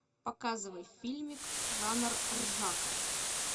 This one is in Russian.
показывай фильмик жанр ржака